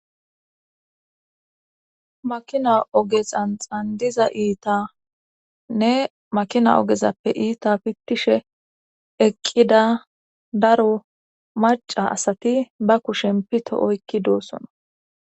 makina oge xanxandiza iitanne makina ogezappe iita pittishe eqqida daro maca asati ba kushen pito oykki doosona